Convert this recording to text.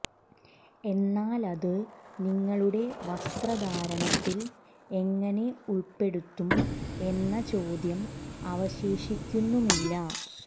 എന്നാൽ അത് നിങ്ങളുടെ വസ്ത്രധാരണത്തിൽ എങ്ങനെ ഉൾപ്പെടുത്തും എന്ന ചോദ്യം അവശേഷിക്കുന്നുമില്ല